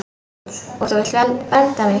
Og þú vilt vernda mig.